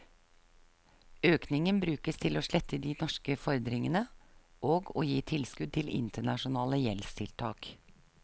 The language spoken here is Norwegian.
Økningen brukes til å slette de norske fordringene, og å gi tilskudd til internasjonale gjeldstiltak.